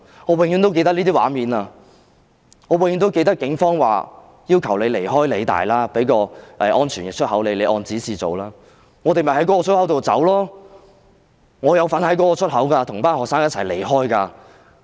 我永遠也會記得這些畫面，我永遠也會記得警方要求他們離開理大，說會給他們一個安全出口，叫他們按指示從那個出口離開。